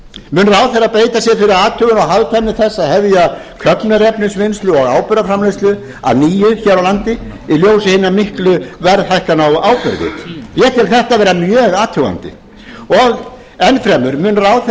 mun ráðherra beita sér fyrir athugun og hagkvæmni þess að hefja köfnunarefnisvinnslu og áburðarframleiðslu að nýju hér á landi í ljósi hinna miklu verðhækkana á áburði ég tel þetta vera mjög athugandi og enn fremur mun ráðherra beita